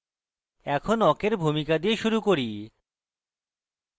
এখন awk awk ভূমিকা দিয়ে শুরু করি